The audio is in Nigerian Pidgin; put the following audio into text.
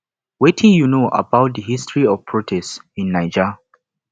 wetin you know about di history of protest in naija